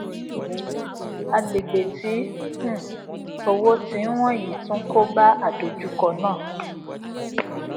agbègbè tí um owó tí n wọn yii tun koba àdojúkọ naa